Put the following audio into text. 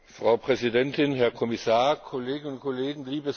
Frau Präsidentin, Herr Kommissar, liebe Kolleginnen und Kollegen!